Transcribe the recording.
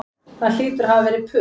Það hlýtur að hafa verið puð